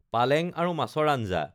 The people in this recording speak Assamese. পালেং আৰু মাছৰ আঞ্জা